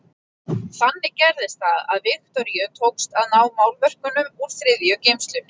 Þannig gerðist það að Viktoríu tókst að ná málverkunum úr þriðju geymslunni.